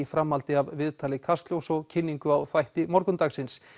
framhaldi af viðtali Kastljóss og kynningu á þætti morgundagsins